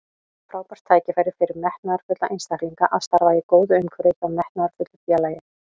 Frábært tækifæri fyrir metnaðarfulla einstaklinga að starfa í góðu umhverfi hjá metnaðarfullu félagi.